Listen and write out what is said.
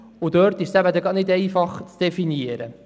Genau dort ist das nicht einfach zu definieren.